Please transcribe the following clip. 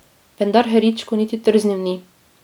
Vendar Heričko niti trznil ni.